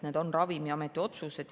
Need on Ravimiameti otsused.